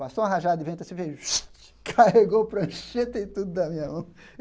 Passou uma rajada de vento, assim veio (assoviu) carregou o prancheta e tudo da minha mão.